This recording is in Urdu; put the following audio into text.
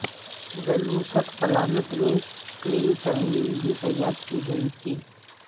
زلوسٹ پلانٹ میں کلین ترمیم بھی تیار کی گئی تھی